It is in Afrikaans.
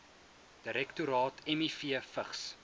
direktoraat miv vigs